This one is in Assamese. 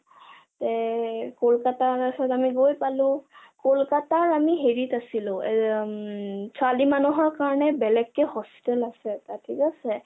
তে কলকাতা তাৰ পিছত আমি গৈ পালো । কলকতা আমি হেৰিত আছিলো আমি উম ছোৱালী মানুহৰ কাৰণে বেলেগকৈ hostel আছে তাত থিক আছে